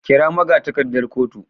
kira magatakardar kotu.